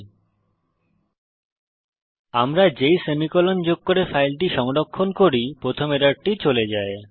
বিজ্ঞপ্তি যে আমরা যেই সেমিকোলন যোগ করে ফাইলটি সংরক্ষণ করি প্রথম এররটি চলে যায়